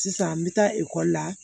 Sisan n bɛ taa ekɔli la